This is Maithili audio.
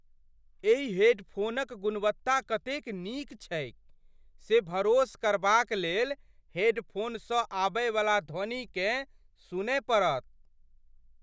एहि हेडफोनक गुणवत्ता कतेक नीक छैक से भरोस करबाक लेल हेडफोनसँ आबयवला ध्वनिकेँ सुनय पड़त।